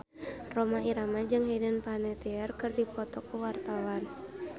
Rhoma Irama jeung Hayden Panettiere keur dipoto ku wartawan